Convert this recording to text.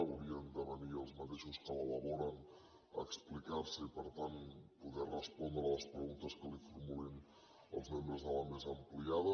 haurien de venir els mateixos que l’elaboren a explicar se i per tant poder respondre a les preguntes que els formulin els membres de la mesa ampliada